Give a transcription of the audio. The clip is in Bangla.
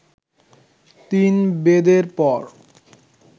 তিন বেদের পর